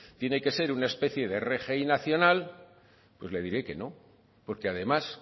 tiene que ser una especie de rgi nacional pues le diré que no porque además